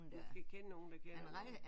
Man skal kende nogen der kender nogen